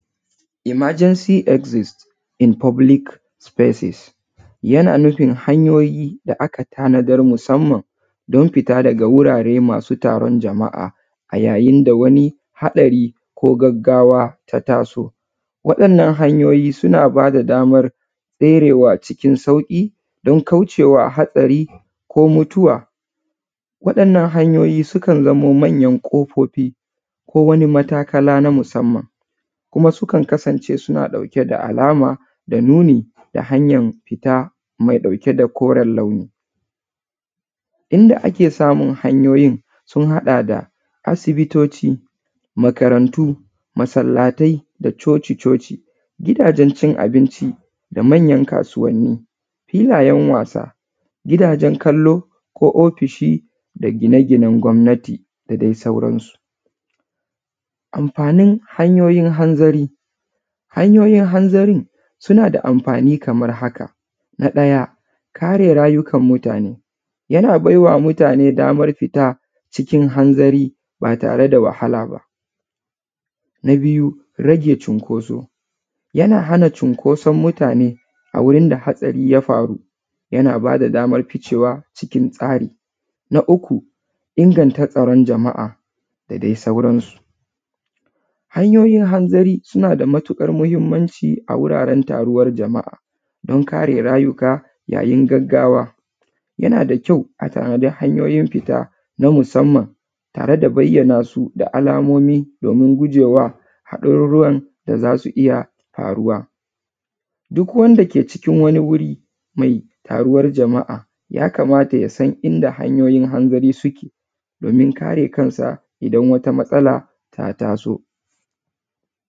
Emergency exist in public places yana nufin ahnyoyin da aka tanadar da musanman don fita daga wurare masu taron jama’a a yayin da haɗari ko gaggawa ta taso. Waɗannan hanyoyi suna ba da damar tserewa cikin sauƙi don kaucewa haɗari ko mutuwa waɗannan hanyoyi sun zamo manyan ƙofofi ko wani matakala na musanman kuma sukan kasance suna ɗauke da alama da nuni da hanyan fita mai ɗauki da koren launi, inda ake samun hanyoyin sun haɗa da asibitoci, makarantu, masallatai da coci-coci, gidajen cin abinci da manyan kasuwanni, gidajen wasanni, gidajen kallo ko ofishi da gine-ginen gwamnati da dai sauransu. Anfanin hanyoyin hanzari, hanyoyin hanzari suna da anfani kaman haka na ɗaya kare rayukan mutane, yana baiwa mutane damar fita cikin hanzari ba tare da wahalaba, na biyu rage cinkoso yana hana cunkoson mutane a wajen da hatsari ya faru, yana ba da daman ficewa cikin tsari. Na uku, inganta tsaron jama’a da dai sauransu hanyoyin hanzari suna da matuƙar mahinmanci a wuraren taruwan jama’a don kare rayuka yayin gaggawa, yana da kyau a tanaji hanyoyin fita na musanman tare da bayyanasu da alamomi domin gujewa haɗarurukan da za su iya faruwa, duk wanda ke cikin wani wuri mai taruwan jama’a ya kamata ya san inda hanyoyin hanzari suke domin kare kansa idan wata matsala ta taso.